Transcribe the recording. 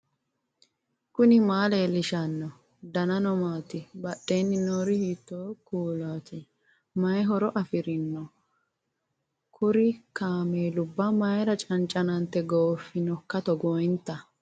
knuni maa leellishanno ? danano maati ? badheenni noori hiitto kuulaati ? mayi horo afirino ? kuru kaameelubba mayra caniccanante gooffinoiika togoonitnnni